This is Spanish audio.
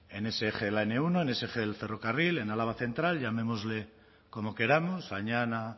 en ese eje de la ene uno en ese eje del ferrocarril en álava central llamémosle como queramos añana